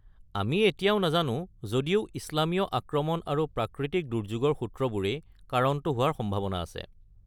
আমি এতিয়াও নাজানো, যদিও ইছলামীয় আক্ৰমণ আৰু প্ৰাকৃতিক দুৰ্য্যোগৰ সূত্ৰবোৰেই কাৰণটো হোৱাৰ সম্ভাৱনা আছে।